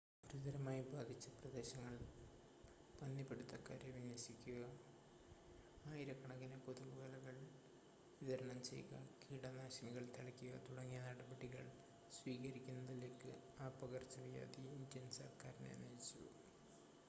ഗുരുതരമായി ബാധിച്ച പ്രദേശങ്ങളിൽ പന്നി പിടുത്തക്കാരെ വിന്യസിപ്പിക്കുക ആയിരക്കണക്കിന് കൊതുക് വലകൾ വിതരണം ചെയ്യുക കീടനാശിനികൾ തളിക്കുക തുടങ്ങിയ നടപടികൾ സ്വീകരിക്കുന്നതിലേക്ക് ആ പകർച്ചവ്യാധി ഇന്ത്യൻ സർക്കാരിനെ നയിച്ചു